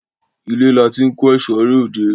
Ile lati n ko ẹso re ode